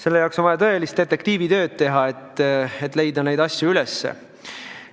On vaja teha tõelist detektiivitööd, et neid asju üles leida.